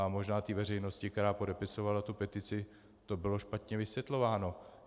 A možná té veřejnosti, která podepisovala tu petici, to bylo špatně vysvětlováno.